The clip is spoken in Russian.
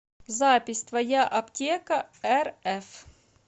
запись твояаптекарф